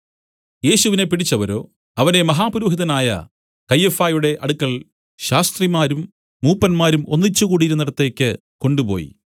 യേശുവിനെ പിടിച്ചവരോ അവനെ മഹാപുരോഹിതനായ കയ്യഫായുടെ അടുക്കൽ ശാസ്ത്രിമാരും മൂപ്പന്മാരും ഒന്നിച്ചുകൂടിയിരുന്നിടത്തേക്ക് കൊണ്ടുപോയി